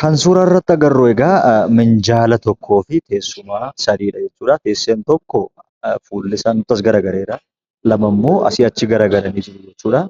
Kan suuraa irratti agarru egaa minjaala tokkoo fi teessuma tokkodha jechuudha. Teessoon tokko fuullisaa as nutti garagaleera. Lamammoo asii achi garagalanii jiru jechuudha.